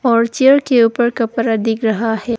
और चेयर के ऊपर कपड़ा दिख रहा है।